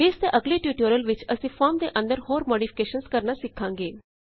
base ਦੇ ਅਗਲੇ tutorial ਵਿੱਚ ਅਸੀਂ ਫੋਰਮ ਦੇ ਅੰਦਰ ਹੋਰ ਮੌਡਿਫਿਕੇਸ਼ਨਜ਼ ਕਰਣਾ ਸਿਖਾਂਗੇ